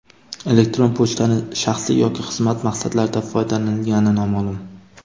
Elektron pochtaning shaxsiy yoki xizmat maqsadlarida foydalanilgani noma’lum.